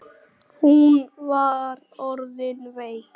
Hún var orðin veik.